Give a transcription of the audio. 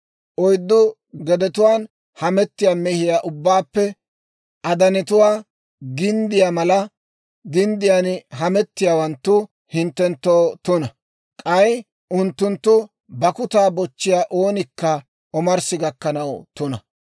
Oyddu gedetuwaan hametiyaa mehiyaa ubbaappe adanetuwaa ginddiyaa mala ginddiyaan hametiyaawanttu hinttenttoo tuna; k'ay unttunttu bakkutaa bochchiyaa oonikka omarssi gakkanaw tuna.